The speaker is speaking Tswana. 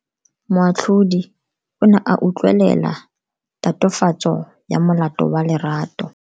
Moatlhodi o ne a utlwelela tatofatso ya molato wa Lerato.